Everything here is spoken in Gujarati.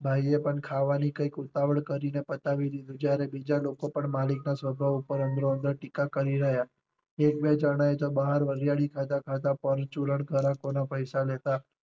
ભાઈ એ પણ ખાવાની કઈક ઉતાવળ કરી ને પતાવી દીધું જ્યારે બીજા લોકો પણ માલિક ના સ્વભાવ ઉપર અંદરો અંદર ટીકા કરી રહ્યા. એક બે જણાં એ તો બહાર વરિયાળી ખાતા ખાતા પરચુરણ ગ્રાહકો ના પૈસા લેતા લેતા